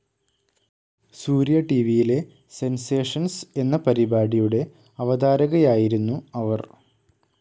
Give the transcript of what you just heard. സൂര്യ ടിവിയിലെ സെൻസേഷൻസ്‌ എന്ന പരിപാടിയുടെ അവതാരകയായിരുന്നു അവർ.